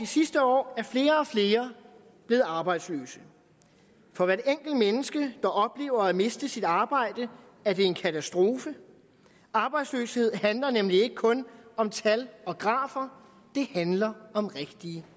sidste år er flere og flere blevet arbejdsløse for hvert enkelt menneske der oplever at miste sit arbejde er det en katastrofe arbejdsløshed handler nemlig ikke kun om tal og grafer det handler om rigtige